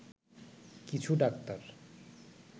কিছু ডাক্তার